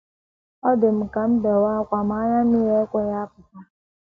Ọ dị m ka m bewe ákwá, ma anya mmiri ekweghị apụta.